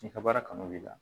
I ka baara kanu b'i la